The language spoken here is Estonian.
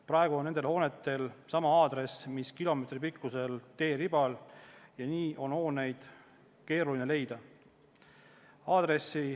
Praegu on nendel hoonetel sama aadress, mis kilomeetripikkusel teeribal, ja seetõttu on hooneid keeruline leida.